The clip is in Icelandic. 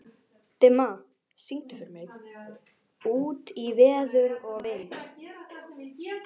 Dimma, syngdu fyrir mig „Út í veður og vind“.